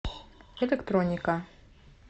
электроника